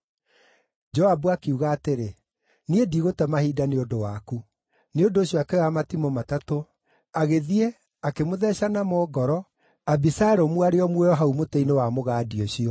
Joabu akiuga atĩrĩ, “Niĩ ndigũte mahinda nĩ ũndũ waku.” Nĩ ũndũ ũcio akĩoya matimũ matatũ, agĩthiĩ, akĩmũtheeca namo ngoro Abisalomu arĩ o muoyo hau mũtĩ-inĩ wa mũgandi-inĩ ũcio.